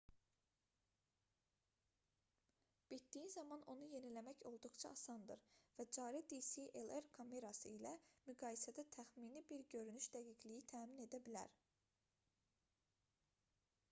bitdiyi zaman onu yeniləmək olduqca asandır və cari dslr kamerası ilə müqayisədə təxmini bir görünüş dəqiqliyi təmin edə bilər